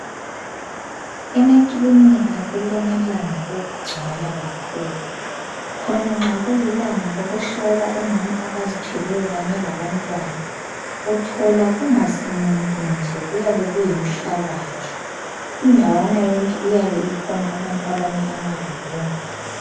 Emakilinika kulamalanga okugcwala kakhulu khona nxa kulilanga lokuhlola omama abazithweleyo kanye labantwana uthola kungasimuntu nje kuyabe kuyinhlabathi indawana yonke iyabe ikhona abantu abame amadlodlongwana.